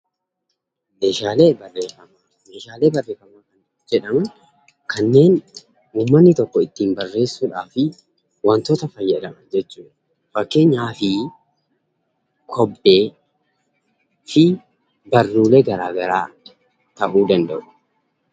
Meeshaalee Barreeffamaa Meeshaalee barreeffamaa kan jedhaman kanneen ummanni tokko ittiin barreessuudhaafi wantoota fayyadaman jechuu dha. Fakkeenyaaf, kobbee fi barruulee garaagaraa ta'uu danda'u.